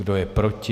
Kdo je proti?